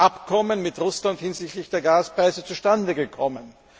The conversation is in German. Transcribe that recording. Abkommen mit Russland hinsichtlich der Gaspreise zustande gekommen?